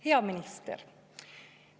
Hea minister!